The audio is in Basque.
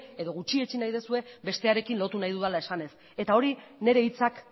edo gutxietsi nahi duzue bestearekin lotu nahi dudala esanez eta hori nire hitzak